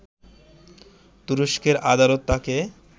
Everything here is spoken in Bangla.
তুরস্কের আদালত তাঁকে